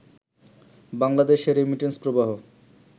বাংলাদেশে রেমিটেন্স প্রবাহ